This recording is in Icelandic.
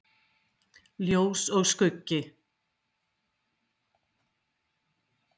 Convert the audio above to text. Kjartan Hreinn: Jæja Bogi hvernig gekk þetta hjá okkur?